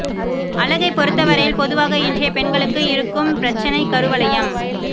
அழகை பொறுத்தவரையில் பொதுவாக இன்றைய பெண்களுக்கு இருக்கும் பிரச்சினை கருவளையம்